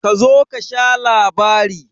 Kazo kasha labari.